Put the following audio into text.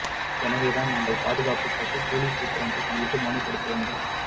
எனவேதான் நாங்கள் பாதுகாப்பு கேட்டு மாவட்ட போலீஸ் சூப்பிரண்டை சந்தித்து மனு கொடுக்க வந்தோம்